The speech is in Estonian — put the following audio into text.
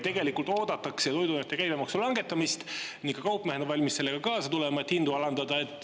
Tegelikult oodatakse toiduainete käibemaksu langetamist ning ka kaupmehed on valmis kaasa tulema, et hindu alandada.